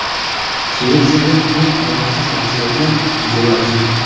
Shvetsiyada eng omadsiz mahsulotlar muzeyi ochildi.